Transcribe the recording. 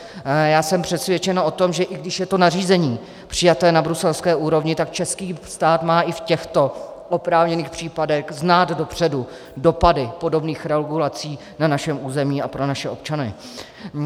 Já jsem přesvědčen o tom, že i když je to nařízení přijaté na bruselské úrovni, tak český stát má i v těchto oprávněných případech znát dopředu dopady podobných regulací na našem území a pro naše občany.